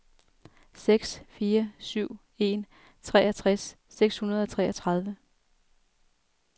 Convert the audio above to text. seks fire syv en treogtres seks hundrede og treogtredive